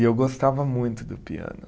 E eu gostava muito do piano.